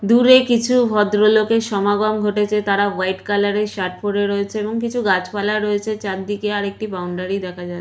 দূরে কিছু ভদ্রলোকের সমাগম ঘটেছে তারা হোয়াইট কালার এর শার্ট পরে রয়েছে এবং কিছু গাছপালা রয়েছে চারদিকে আরেকটি বাউন্ডারি দেখা যাচ্ছ--